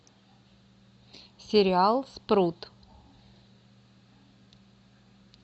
сериал спрут